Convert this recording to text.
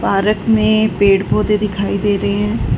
Park में पेड़ पौधे दिखाई दे रहे है।